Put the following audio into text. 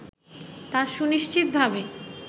তা সুনিশ্চিতভাবে